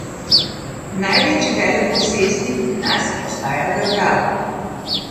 Največji veleposestnik pri nas ostaja država.